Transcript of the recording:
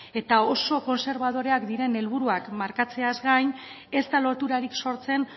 eta oso kontserbadoreak diren helburuak markatzeaz gain ez da loturarik sortzen